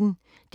DR P1